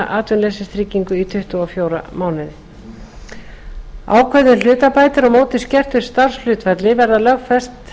atvinnuleysistryggingu í tuttugu og fjóra mánuði ákvæði um hlutabætur á móti skertu starfshlutfalli